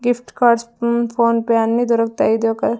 gift cards um PhonePe అన్ని దొరుకుతాయి ఇది ఒక--